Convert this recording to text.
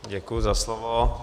Děkuji za slovo.